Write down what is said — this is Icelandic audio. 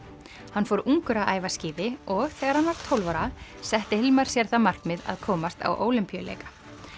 hann fór ungur að æfa skíði og þegar hann var tólf ára setti Hilmar sér það markmið að komast á Ólympíuleika